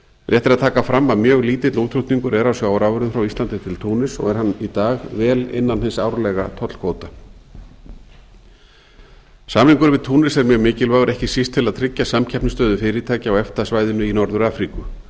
rétt er að taka fram að mjög lítill útflutningur er á sjávarafurðum frá íslandi til túnis og er hann í dag vel innan hins árlega tollkvóta samningurinn við túnis er mjög mikilvægur ekki síst til að tryggja samkeppnisstöðu fyrirtækja á efta svæðinu í norður afríku